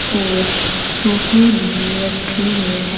और सोफे भी रखे हुए हैं।